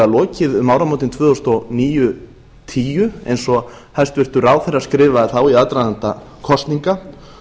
lokið um áramótin tvö þúsund og níu til tvö þúsund og tíu eins og hæstvirtur ráðherra skrifaði þá í aðdraganda kosninga